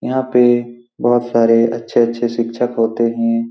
यहाँ पे बहुत सारे अच्छे-अच्छे शिक्षक होते हैं।